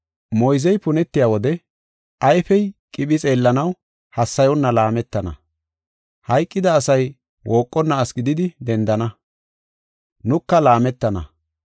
Moyzey punetiya wode, ayfey qiphi xeellanaw hassayonna laametana. Hayqida asay wooqonna asi gididi dendana; nuka laametana.